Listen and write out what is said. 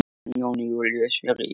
Jón Júlíus: Fyrir Íslandi?